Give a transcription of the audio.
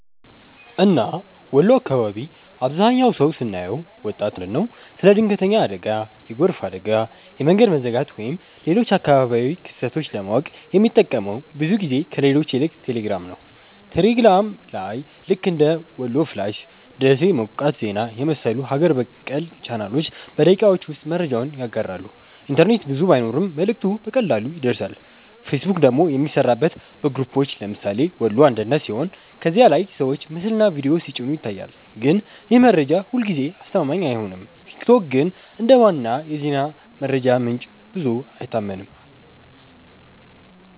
እና ወሎ አካባቢ አብዛህኛው ሰው ስናየው( ወጣት እና አዋቂ) ስለ ድንገተኛ አደጋ፣ የጎርፍ አደጋ፣ የመንገድ መዘጋት ወይም ሌሎች አካባቢያዊ ክስተቶች ለማወቅ የሚጠቀመው ብዙ ጊዜ ከሌሎች ይልቅ ቴሌግራም ነው። ቴሌግራም ላይ ልክ እንደ "ወሎ ፍላሽ''፣ “ደሴ ሞቃት ዜና” የመሰሉ ሀገር በቀል ቻናሎች በደቂቃዎች ውስጥ መረጃውን ያጋራሉ፤ ኢንተርኔት ብዙ ባይኖርም መልእክቱ በቀላሉ ይደርሳል። ፌስቡክ ደግሞ የሚሠራበት በግሩፖች (ለምሳሌ “ወሎ አንድነት”) ሲሆን ከዚያ ላይ ሰዎች ምስልና ቪዲዮ ሲጭኑ ይታያል፣ ግን ይህ መረጃ ሁልጊዜ አስተማማኝ አይሆንም። ቲክቶክ ግን እንደ ዋና የዜና መረጃ ምንጭ ብዙ አይታመንም።